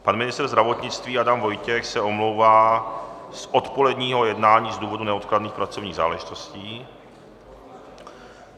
Pan ministr zdravotnictví Adam Vojtěch se omlouvá z odpoledního jednání z důvodu neodkladných pracovních záležitostí.